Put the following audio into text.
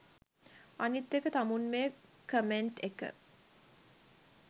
අනිත් එක තමුන් මේ කොමෙන්ට් එක